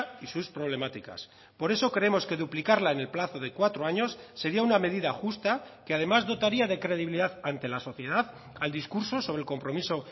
y sus problemáticas por eso creemos que duplicarla en el plazo de cuatro años sería una medida justa que además dotaría de credibilidad ante la sociedad al discurso sobre el compromiso